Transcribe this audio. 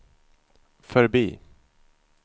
förbi